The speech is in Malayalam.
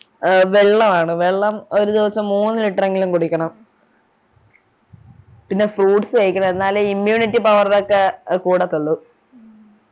ആഹ് വെള്ളോ ആണ് വെള്ളം ഒരു ദിവസം മൂന്ന് litre എങ്കിലും കുടിക്കണം പിന്നെ fruits കഴിക്കണം ഇന്നലെ immunity power ഒക്കെ കൂടത്തുള്ളു